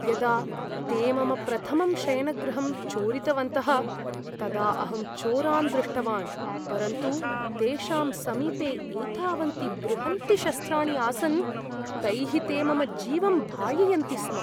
यदा ते मम प्रथमं शयनगृहं चोरितवन्तः तदा अहं चोरान् दृष्टवान्, परन्तु तेषां समीपे एतावन्ति बृहन्ति शस्त्राणि आसन्, तैः ते मम जीवं भाययन्ति स्म।